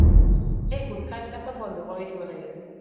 এই গুটখা বিলাক সব বন্ধ কৰি দিব লাগে